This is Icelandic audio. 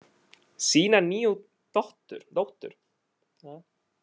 Sína nýju dóttur.